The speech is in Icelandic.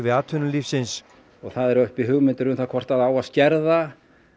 atvinnulífsins og það eru uppi hugmyndir um það hvort á að skerða